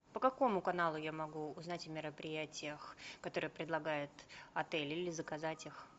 по какому каналу я могу узнать о мероприятиях которые предлагает отель или заказать их